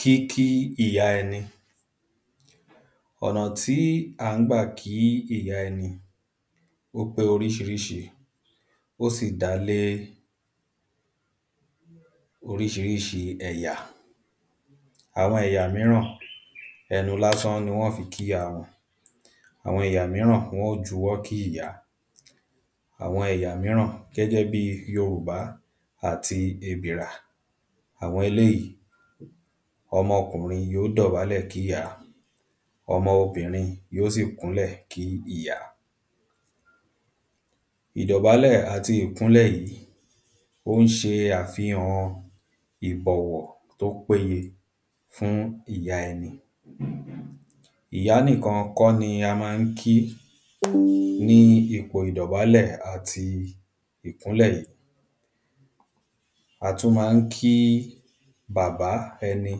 Kíkí ìyá ẹ̄nī. Ọ̀nà tí à ń gbà kí ìyá ẹ̄nī ó pé ōríṣīríṣī ó sì dálé ōríṣīríṣī ẹ̀yà. Àwọ̄n ẹ̀yà míràn ẹ̄nū lásán nī wọ́n fī kí ìyá wọ̄n. Àwọ̄n ẹ̀yà míràn wọ́n ó jūwọ́ kí ìyá. Àwọ̄n ẹ̀yà míràn gẹ́gẹ́ bí yōrùbá àtī èbìrà àwọ̄n èléèyí ọ̄mọ̄ kùnrīn yóò dọ̀bálẹ̀ kíyàá ọ̄mọ̄ ōbìnrīn yóò sì kúnlẹ̀ kí ìyá. Ìdọ̀bálẹ̀ àtī ìkúnlẹ̀ yìí ó ń ṣē àfīhàn ìbọ̀wọ̀ tó péyē fún ìyá ẹ̄nī. Ìyá nìkān kọ́ nī ā má ń kí ní īpò ìdọ̀bálẹ̀ àtī ìkúnlẹ̀ yìí Ā tún má ń kí bàbá ẹ̄nī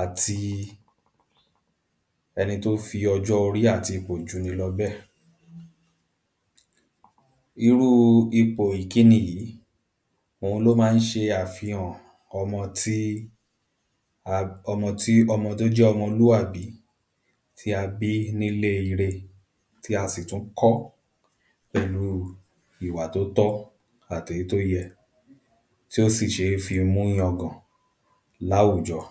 àtī ẹ̄nī tó fī ọ̄jọ́ ōrí àtī īpò jū nī lọ̄ bẹ́è. Īrú īpò ìkínī yìí òūn ló má ń ṣē àfīhàn ọ̄mọ̄ tí a ọ̄mọ̄ tí ọ̄mọ̄ tó jẹ́ ọ̄mọ̄lúàbí tí ā bí nílé īrē tí ā sì tún kọ́ pẹ̀lú ìwà tó tọ́ àtèyí tó yẹ̄ tí ó sì ṣé fī mú yān gàn láwùjọ̄